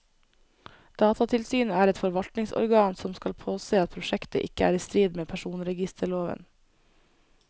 Datatilsynet er et forvaltningsorgan som skal påse at prosjektet ikke er i strid med personregisterloven.